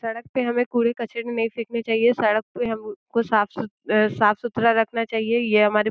सड़क पे हमे कूड़े-कचरे नहीं फेकने चाहिए। सड़क पे हम को साफ़ साफ़-सुथरा रखना चाहिए। ये हमारे --